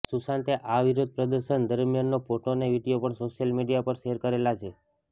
સુંશાતે આ વિરોધ પ્રદર્શન દરમિયાનનો ફોટો અને વીડિયો પણ સોશિયલ મીડિયા પર શેર કરેલા છે